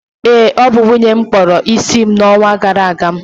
ee, ọ bụ nwunye m kpụrụ isi m n’ọnwa gara aga